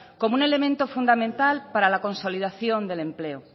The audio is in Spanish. como un elemento fundamental para la consolidación del empleo